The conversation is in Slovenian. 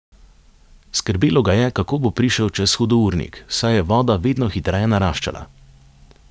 Skrbelo ga je, kako bo prišel čez hudournik, saj je voda vedno hitreje naraščala.